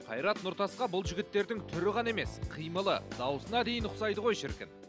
қайрат нұртасқа бұл жігіттердің түрі ғана емес қимылы дауысына дейін ұқсайды ғой шіркін